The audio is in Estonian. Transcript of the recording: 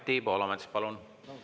Anti Poolamets, palun!